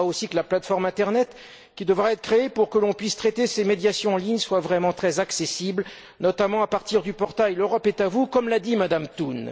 Il faudra aussi que la plateforme internet, qui devra être créée pour permettre de traiter ces médiations en ligne, soit vraiment très accessible, notamment à partir du portail L'Europe est à vous, comme l'a dit Mme Thun.